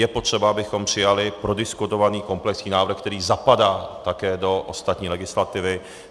Je potřeba, abychom přijali prodiskutovaný komplexní návrh, který zapadá také do ostatní legislativy.